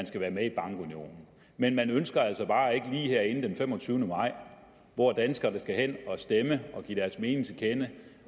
skal være med i bankunionen men man ønsker altså bare ikke lige herinde den femogtyvende maj hvor danskerne skal hen og stemme og give deres mening til kende